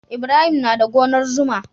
Ibrahim na da gonar zuma.